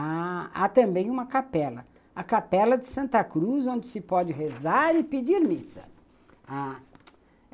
Há também uma capela, a capela de Santa Cruz, onde se pode rezar e pedir missa ah